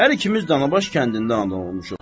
Hər ikimiz Danabaş kəndində anadan olmuşuq.